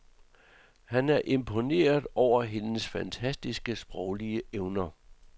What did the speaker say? Han er imponeret over hendes fantastiske sproglige evner.